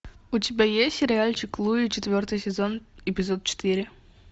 у тебя есть сериальчик луи четвертый сезон эпизод четыре